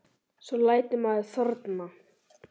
Svo lætur maður þorna.